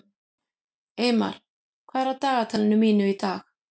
Eymar, hvað er á dagatalinu mínu í dag?